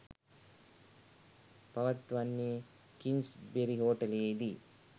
පවත්වන්නේ කිංස්බරි හෝටලයේදී.